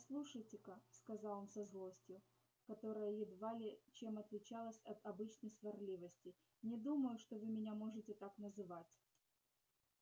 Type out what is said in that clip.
послушайте-ка сказал он со злостью которая едва ли чем отличалась от обычной сварливости не думаю что вы меня можете так называть